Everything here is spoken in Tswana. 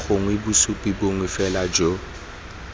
gongwe bosupi bongwe fela jo